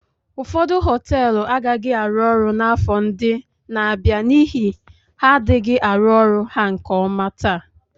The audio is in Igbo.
Ụfọdụ họteelụ agaghị arụ ọrụ n'afọ ndị na-abịa n'ihi ha adịghị arụ ọrụ ha nke ọma taa.